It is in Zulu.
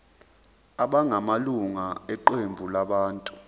abangamalunga eqembu labantu